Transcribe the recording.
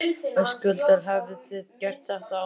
Höskuldur: Hafið þið gert þetta áður?